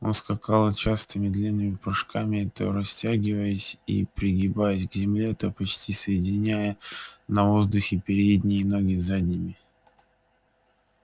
он скакал частыми длинными прыжками то растягиваясь и пригибаясь к земле то почти соединяя на воздухе передние ноги с задними